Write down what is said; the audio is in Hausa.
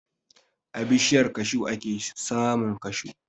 A bishiyar kashu ake samun kashu.